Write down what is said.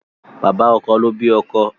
Bàbá ọkọ ló bí ọkọ